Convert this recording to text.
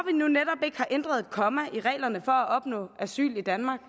nu netop ikke har ændret et komma i reglerne for at opnå asyl i danmark